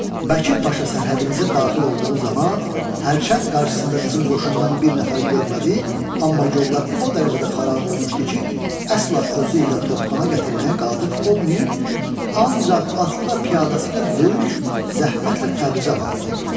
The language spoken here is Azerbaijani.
Bəkir paşa sərhədimizə daxil olduğu zaman hərçənd qarşısında bizim qoşundan bir nəfər görmədi, amma yollar o dərəcədə xarab olmuşdu ki, əsla özü ilə topxana gətirməyə qadir olmayıb ancaq atlı və piyadası ilə böyük zəhmətlə Təbrizə varid oldu.